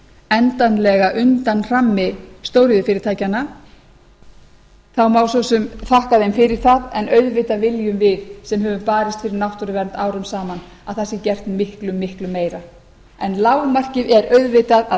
endanlega undan hrammi stóriðjufyrirtækjanna þá má svo sem þakka þeim fyrir það en auðvitað viljum við sem höfum barist fyrir náttúruvernd árum saman að það sé gert miklu miklu meira en lágmarkið er auðvitað að þjórsárver